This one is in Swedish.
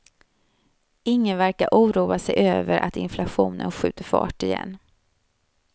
Ingen verkar oroa sig över att inflationen skjuter fart igen.